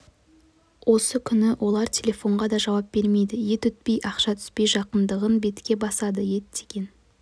осы күні олар телефонға да жауап бермейді ет өтпей ақша түспей жатқандығын бетке басады ет деген